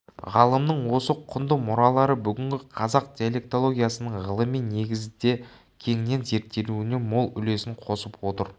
ғалымның осы құнды мұралары бүгінгі қазақ диалектологиясының ғылыми негізде кеңінен зерттелуіне мол үлесін қосып отыр